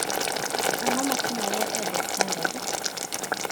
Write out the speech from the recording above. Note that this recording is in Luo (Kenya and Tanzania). Ang'o matimore e The Standard?